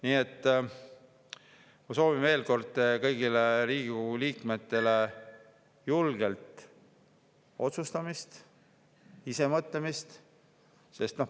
Nii et ma soovin veel kord kõigile Riigikogu liikmetele julget otsustamist, ise mõtlemist.